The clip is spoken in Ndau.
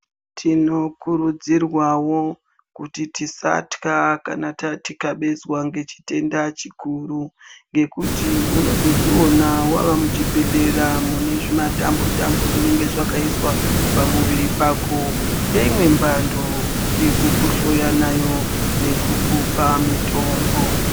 Tinokurudzirwawo kuti tisatya kana tikabezwa ngechitenda chikuru ngekuti unozodziona wava muchibhedhleya mune zvimatambo tambo zvawakaiswa pamuviri pako ndoinwe mhando yekukuhloya nayo nekukupa mitombo.